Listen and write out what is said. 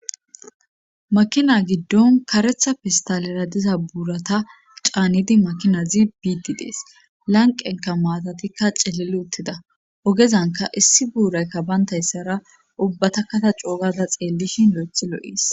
makina giddon karetha pistalera diza buurata caanidi makinazi biidi dees lanqenka maatatikka celili uttida ogezanka issi buuraykka bayntayssara ubbata kata coogada xeellishin yo7ethi lo7is